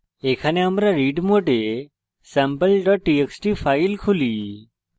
এখানে আমরা read mode sample txt file খুলি